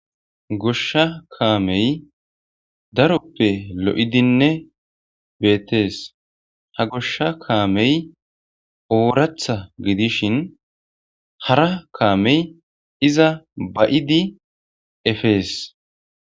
Goshsha kameyi daroppe lo'iddinne betees.haa goshsha kameyi oraththa gidishshin hara kameyi izza ba'iddi efees.